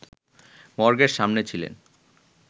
মর্গের সামনে ছিলেন